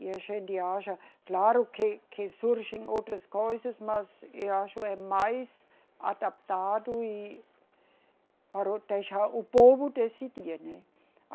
E a gente acha, claro, que, que surgem outras coisas, mas eu acho é mais adaptado e para deixar o povo decidir, né.